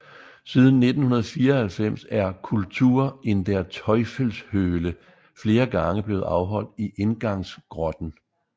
Siden 1994 er Kultur in der Teufelshöhle flere gange blevet afholdt i indgangsgrotten